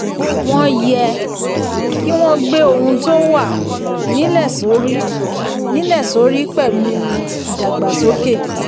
wọ́n yẹ um kí wọ́n gbe ohun tó wà um nílẹ̀ sórí um nílẹ̀ sórí pẹ̀lú um ìdàgbàsókè.